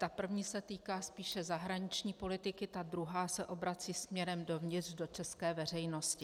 Ta první se týká spíše zahraniční politiky, ta druhá se obrací směrem dovnitř, do české veřejnosti.